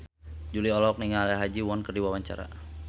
Jui olohok ningali Ha Ji Won keur diwawancara